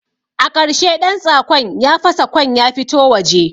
A ƙarshe ɗantsakon ya fasa kwan ya fito waje